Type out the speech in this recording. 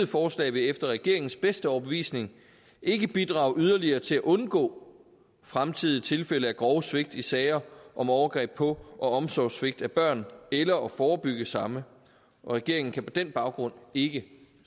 forslag vil efter regeringens bedste overbevisning ikke bidrage yderligere til at undgå fremtidige tilfælde af grove svigt i sager om overgreb på og omsorgssvigt af børn eller at forebygge samme regeringen kan på den baggrund ikke